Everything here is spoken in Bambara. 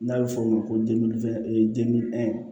N'a bɛ fɔ o ma ko